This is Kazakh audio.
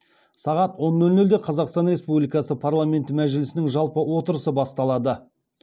сағат он нөл нөлде қазақстан республикасы парламенті мәжілісінің жалпы отырысы басталады